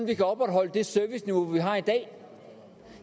vi kan opretholde det serviceniveau vi har i dag